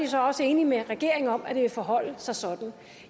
så også enig med regeringen om at det vil forholde sig sådan